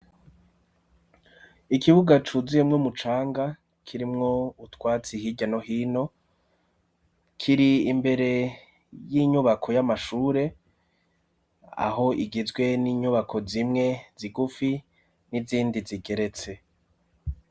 Ikibuga cuzuyemwo umucanga kirimwo utwatse ihirya nohino kiri imbere y'inyubako y'amashure aho igizwe n'inyubako zimwe zigufi n'izindi zigeretse.